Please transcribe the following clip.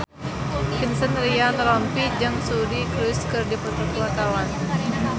Vincent Ryan Rompies jeung Suri Cruise keur dipoto ku wartawan